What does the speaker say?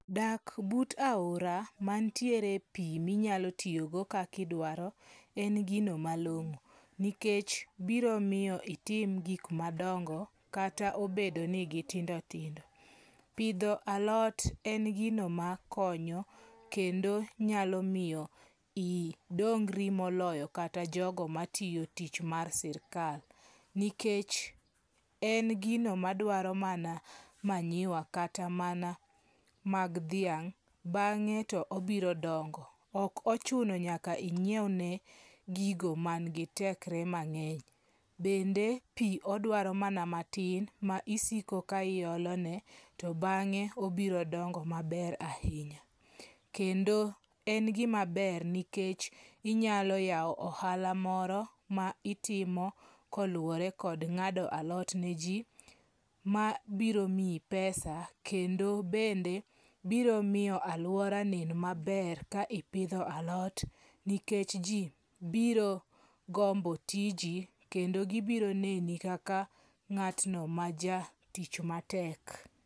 Dak but aora mantiere pi minyalo tiyogo kakidwaro en gino malong'o. Nikech biro miyo itim gik madongo kata obedo ni gitindo tindo. Pidho alot en gino makonyo kendo nyalo miyo idongri moloyo kata jogo matiyo tich mar sirikal. Nikech en gino madwaro mana manyiwa kata mana mag dhiang' bang'e to obiro dongo. Ok ochuno nyaka inyiewne gigo man gi tekre mang'eny. Bende pi odwaro mana matin ma isiko ka iolone to bang'e obiro dongo maber ahinya. Kendo en gima ber nikech inyalo yawo ohala moro ma itimo koluwore kod ng'ado alot ne ji mabiro miyi pesa. Kenda biro miyo aluora onen maber ka ipidho alot nikech ji biro gombo tiji kendo gibiro neni kaka ng'atno ma ja tich matek.